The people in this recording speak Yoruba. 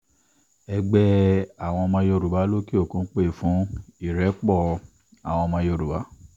ẹgbẹ́ àwọn ọmọ yorùbá lókè-òkun pé fún ìrẹ́pọ̀ àwọn ọmọ yorùbá